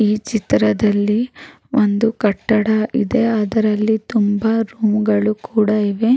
ಈ ಚಿತ್ರದಲ್ಲಿ ಒಂದು ಕಟ್ಟಡ ಇದೆ ಅದರಲ್ಲಿ ತುಂಬಾ ರೂಮ್ ಗಳು ಕೂಡ ಇವೆ.